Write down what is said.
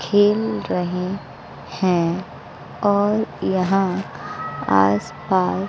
खेल रहे हैं और यहां आस पास--